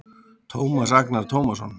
Tómas Agnar Tómasson